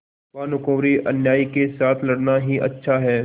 भानुकुँवरिअन्यायी के साथ लड़ना ही अच्छा है